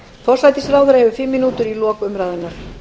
forsætisráðherra hefur fimm mínútur í lok umræðunnar